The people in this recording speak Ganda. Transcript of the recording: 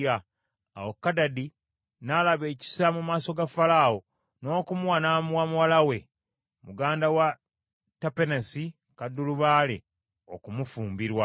Awo Kadadi n’alaba ekisa mu maaso ga Falaawo n’okumuwa n’amuwa mulamu we, muganda wa Tapenesi kaddulubaale, okumufumbirwa.